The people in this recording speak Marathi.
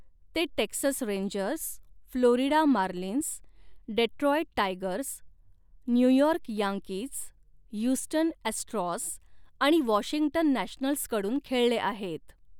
ते 'Texas Rangers', 'Florida Marlins', 'Detroit Tigers', 'New York Yankees', 'Houston Astros' आणि 'वॉशिंग्टन नॅशनल्स'कडून खेळले आहेत.